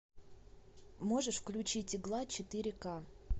можешь включить игла четыре ка